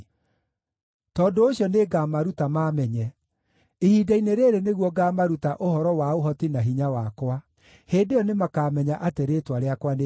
“Tondũ ũcio nĩngamaruta maamenye, ihinda-inĩ rĩĩrĩ nĩguo ngaamaruta ũhoro wa ũhoti na hinya wakwa. Hĩndĩ ĩyo nĩmakamenya atĩ rĩĩtwa rĩakwa nĩ Jehova.